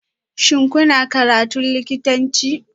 Shin kuna karatun likitanci?